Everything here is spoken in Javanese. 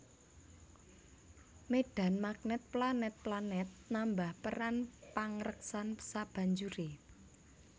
Médhan magnèt planèt planèt nambah peran pangreksan sabanjuré